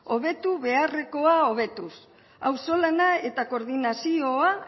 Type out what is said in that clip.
hobetu beharrekoa hobetuz auzolana eta koordinazioa